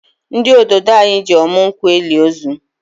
Ndi ododo anyị ji ọmụ nkwụ eli ozu